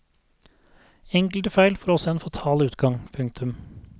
Enkelte feil får også en fatal utgang. punktum